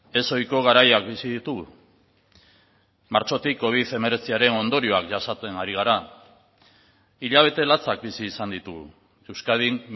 ezohiko garaiak bizi ditugu martxotik covid hemeretziaren ondorioak jasaten ari gara hilabete latzak bizi izan ditugu euskadin